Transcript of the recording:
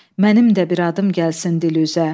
mənim də bir adım gəlsin dil üzə.